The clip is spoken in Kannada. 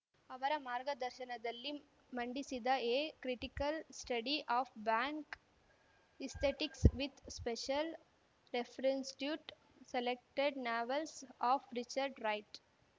ಅವರ ಮಾರ್ಗದರ್ಶನದಲ್ಲಿ ಮಂಡಿಸಿದ a critical study of black aesthetics with special reference to selected novels of Richard right